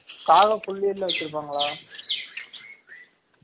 காகம் புல்லி எல்லாம் வச்சு இருப்பாங்கலா